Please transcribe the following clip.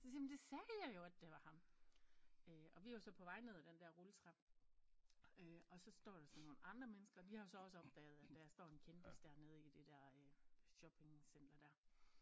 Så siger jamen det sagde jeg jo at det var ham øh og vi var så på vej ned af den der rulletrappe øh og så står der så nogle andre mennesker og de har jo så også opdaget at der står en kendis dernede i det der shoppingcenter dér